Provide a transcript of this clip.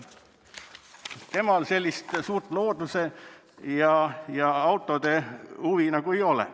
Temal sellist suurt looduse ja autode huvi nagu ei ole.